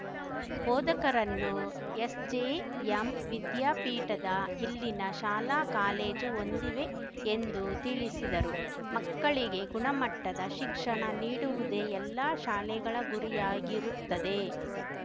ಬೋಧಕರನ್ನು SJM ವಿದ್ಯಾಪೀಠದ ಇಲ್ಲಿನ ಶಾಲಾಕಾಲೇಜು ಹೊಂದಿವೆ ಎಂದು ತಿಳಿಸಿದರು ಮಕ್ಕಳಿಗೆ ಗುಣಮಟ್ಟದ ಶಿಕ್ಷಣ ನೀಡುವುದೇ ಎಲ್ಲಾ ಶಾಲೆಗಳ ಗುರಿಯಾಗಿರುತ್ತದೆ